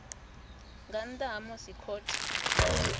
nga nnḓa ha musi khothe